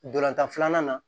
Dolantan filanan na